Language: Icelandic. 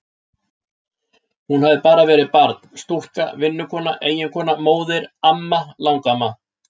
Hún hafði bara verið barn, stúlka, vinnukona, eiginkona, móðir, amma, langamma.